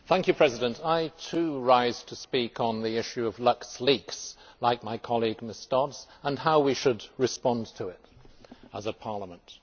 Mr President, I too rise to speak on the issue of LuxLeaks, like my colleague Ms Dodds, and how we should respond to it as a Parliament.